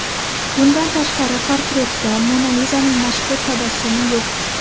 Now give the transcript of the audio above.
Bundan tashqari, portretda Mona Lizaning mashhur tabassumi yo‘q.